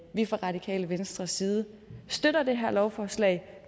vi fra radikale venstres side støtter det her lovforslag